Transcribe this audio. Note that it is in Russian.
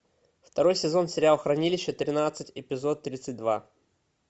второй сезон сериал хранилище тринадцать эпизод тридцать два